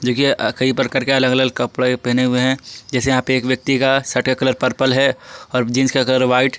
देखिए कई प्रकार के अलग-अलग कपड़े पहने हुए हैं जैसे यहां पे एक व्यक्ति का शर्ट का कलर पर्पल है और जींस का कलर व्हाइट --